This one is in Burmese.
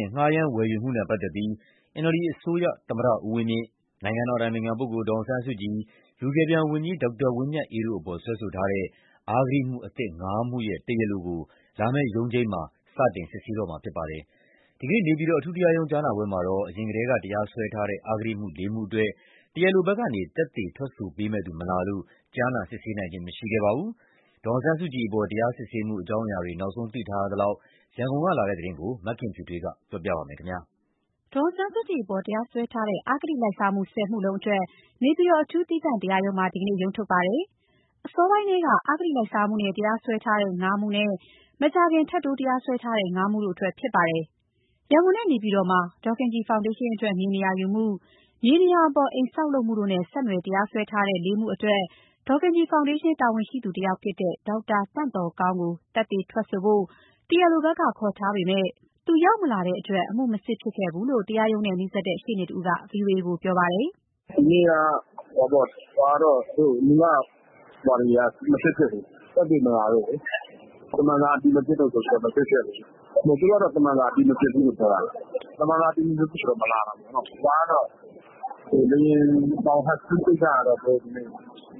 ဉ် ငှားရမ်း၊ ဝယ်ယူမှုနဲ့ ပတ်သက်ပြီး NLD အစိုးရ သမ္မတဦးဝင်းမြင့်၊ နိုင်ငံတော်အတိုင်ပင်ခံပုဂ္ဂိုလ် ဒေါ်အောင်ဆန်း စုကြည်၊ လူကယ်ပြန်ဝန်ကြီး ဒေါက်တာဝင်းမြတ်အေးတို့အပေါ် စွဲဆိုထားတဲ့ အဂတိမှု အသစ် ၅ မှုရဲ့ တရားလိုကို လာမယ့်ရုံးချိန်း မှာ စတင်စစ်ဆေးမှာဖြစ်ပါတယ်။ ဒီနေ့ နေပြည်တော်အထူးတရားရုံး ကြားနာပွဲမှာတော့ အရင်ထဲကတရားစွဲထားတဲ့ အဂတိမှု ၄ မှုအတွက် တရားလိုဘက်က သက်သေထွက်ဆိုပေးမယ့်သူမလာလို့ ကြားနာစစ်ဆေးခြင်း မရှိခဲ့ပါဘူး။ ဒေါ်အောင်ဆန်းစုကြည် ပေါ် တရားစစ်ဆေးမှုအကြောင်း နောက်ဆုံးသိထားရသလောက် ရန်ကုန်ကလာတဲ့သတင်းကို မခင်ဖြူထွေးက ပြောပြပါမယ်။ ဒေါ်အောင်ဆန်းစုကြည်အပေါ် တရားစွဲထားတဲ့ အဂတိလိုက်စားမှု ၁၀ မှုလုံးအတွက် နေပြည်တော် အထူးသီးသန့်တရားရုံးမှာ ဒီနေ့ရုံးထုတ်ပါတယ်။ အစောပိုင်းထဲက အဂတိလိုက်စားမှုနဲ့ တရားစွဲထားတဲ့ ၅ မှုနဲ့ မကြာခင်က ထပ်တိုးတရားစွဲထားတဲ့ ၅ မှုတို့ အတွက်ဖြစ်ပါတယ်။ ရန်ကုန်နဲ့နေပြည်တော်မှာ ဒေါ်ခင်ကြည်ဖောင်ဒေးရှင်းအတွက် မြေနေရာယူမှု၊ မြေနေရာပေါ် အိမ်ဆောက်လုပ်မှုတို့နဲ့ ဆက်နွယ် တရားစွဲထားတဲ့ ၄ မှုအတွက် ဒေါ်ခင်ကြည်ဖောင်ဒေးရှင်း တာဝန်ရှိသူတယောက်ဖြစ်တဲ့ ဒေါက်တာသန့်သော်ကောင်းကို သက်သေထွက်ဆိုဖို့ တရားလိုဘက်က ခေါ်ထားပေမဲ့ သူရောက်မလာတဲ့အတွက် အမှုမစစ်ဖြစ်ခဲ့ဘူးလို့ တရားရုံးနဲ့နီးစပ်တဲ့ ရှေ့နေတဦးက ဗွီအိုအေကို ပြောပါတယ်။ “ဒီနေ့က မူလဟာတွေက မစစ်ဖြစ်ဘူး။ သက်သေမလာလို့လေ။ သမ္မန်စာအတည်မဖြစ်လို့ မစစ်ဖြစ်ဘူး။ သူတို့ကတော့ သမ္မန်စာ အတည်မဖြစ်ဘူးပြောတာပဲ။ သမ္မန်စာအတည်မဖြစ်ဘူးဆိုတော့ မလာတာပေါ့နော်။ လေယာဉ် ဟတ်စကီးကိစ္စကတော့ သူတို့